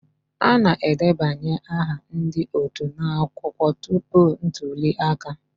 A na-edebanye aha ndị otu n'akwụkwọ tupu ntuli aka